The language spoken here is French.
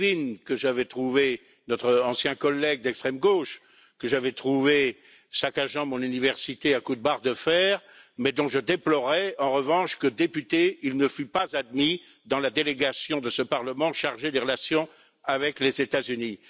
Krivine, notre ancien collègue d'extrême gauche, que j'avais trouvé saccageant mon université à coups de barre de fer, mais dont je déplorais en revanche qu'en tant que député, il ne fut pas admis dans la délégation de ce Parlement chargée des relations avec les États Unis.